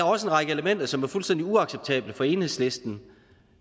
også en række elementer som er fuldstændig uacceptable for enhedslisten